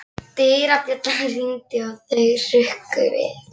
Dyrabjallan hringdi og þau hrukku við.